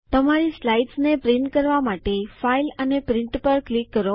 તમારી સ્લાઇડ્સને છાપવા માટે ફાઈલ અને પ્રિન્ટ પર ક્લિક કરો